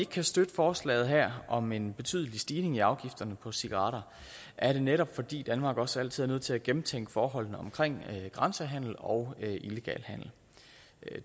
kan støtte forslaget her om en betydelig stigning af afgiften på cigaretter er det netop fordi danmark også altid er nødt til at gennemtænke forholdene omkring grænsehandel og illegal handel